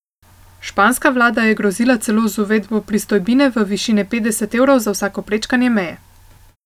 Španska vlada je grozila celo z uvedbo pristojbine v višini petdeset evrov za vsako prečkanje meje.